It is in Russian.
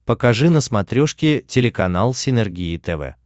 покажи на смотрешке телеканал синергия тв